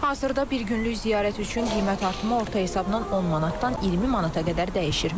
Hazırda bir günlük ziyarət üçün qiymət artımı orta hesabla 10 manatdan 20 manata qədər dəyişir.